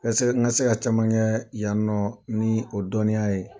N ka se n ka se ka caman kɛ yan nɔ ni o dɔninya ye.